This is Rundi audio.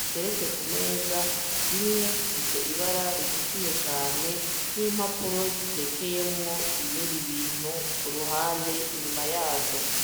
ziteretse ku meza, zimwe zifise ibara ritukuye cane n'impapuro zitekeyemwo ibindi bintu ku ruhande inyuma yazo.